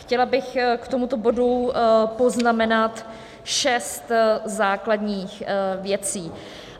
Chtěla bych k tomuto bodu poznamenat šest základních věcí.